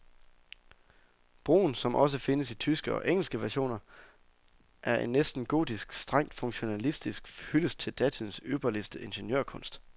Broen, som også findes i tyske og engelske versioner, er en næsten gotisk, strengt funktionalistisk hyldest til datidens ypperste ingeniørkunst.